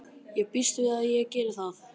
Ég býst við að ég geri það.